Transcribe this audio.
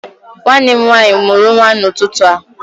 Nwanne m nwaanyị mụrụ nwa n'ụtụtụ a